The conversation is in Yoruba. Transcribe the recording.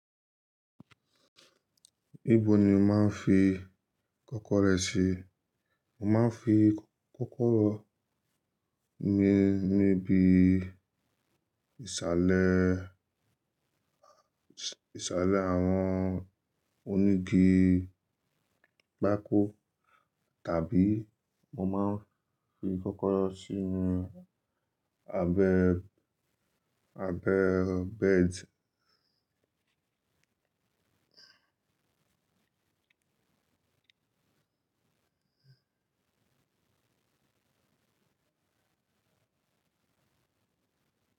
Níbo ni o máa ń fi kọ́kọ́rọ́ rẹ sí? Mo máa ń fi kọ́kọ́rọ́ mi níbi ìsàlẹ̀, ìsàlẹ̀ àwọn onígi pákó tàbí mo máa ń fi kọ́kọ́rọ́ sí inú abẹ, abẹ bẹ́ẹ̀dì.